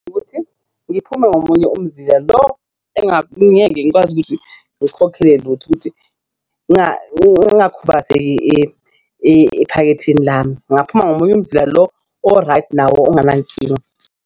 Ukuthi ngiphume ngomunye umzila lo engeke ngikwazi ukuthi ngiwukhokhele ephaketheni lami ngaphuma ngomunye umzila lo o-right nawo onganankinga.